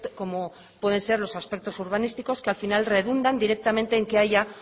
como pueden ser los aspectos urbanísticos que al final redundan directamente en que haya